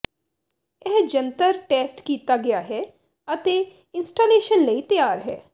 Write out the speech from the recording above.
ਇਹ ਜੰਤਰ ਟੈਸਟ ਕੀਤਾ ਗਿਆ ਹੈ ਅਤੇ ਇੰਸਟਾਲੇਸ਼ਨ ਲਈ ਤਿਆਰ ਹੈ